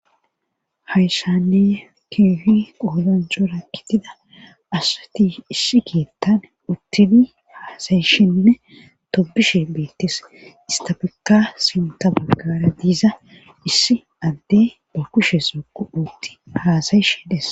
hayssanneye kiuhi qoodancho rakkitida asati issi kiettan uttini haasayishinne tobishe beettis istafikka sinta baggara diiza issi adde ba kushe soqu uutti haasayishe des